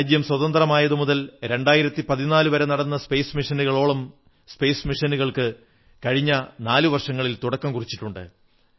രാജ്യം സ്വതന്ത്രമായതു മുതൽ 2014 വരെ നടന്ന സ്പേസ് മിഷനുകളോളം സ്പേസ് മിഷനുകൾക്ക് കഴിഞ്ഞ നാലു വർഷങ്ങളിൽ തുടക്കം കുറിച്ചിട്ടുണ്ട്